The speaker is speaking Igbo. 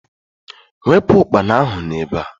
Wepụ ukpana ahu n'ebe a!